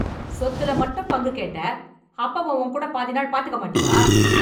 சொத்துல மட்டும் பங்கு கேட்ட, அப்பாவ உன் கூட பாதி நாள் பாத்துக்க மாட்டியா?